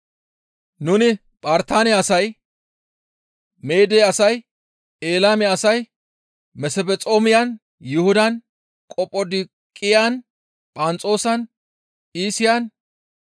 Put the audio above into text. Nuni Phartaane asay, Meede asay, Eelaame asay, Mesphexoomiyan, Yuhudan, Qophodooqiyan, Phanxoosan, Iisiyan,